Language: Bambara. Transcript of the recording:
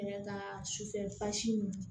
Kɛnɛ ka sufɛ basi nun